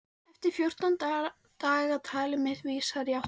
Eftir fjórtán daga- talið mitt vísar í áttina þá.